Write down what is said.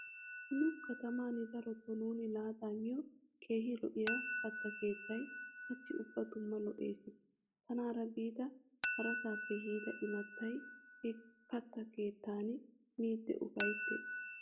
Nu kataman daroto nuuni laaxa miyo keehi lo'iya katta keettayi hachchi ubba dumma lo'ees. Tanaara biida harasaappe yiida imattay he katta keettan miidi ufayttiis.